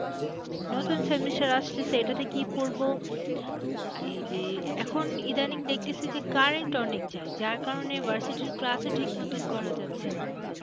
semester আসছে সেটাতে কি পড়বো? এই যে, এখন ইদানিং দেখতেসি যে current অনেক যায় যার কারণে versity র class ও ঠিক মতন করা যাচ্ছে না।